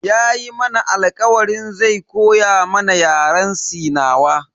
Yayi mana alkawarin zai koya mana Yaren sinawa.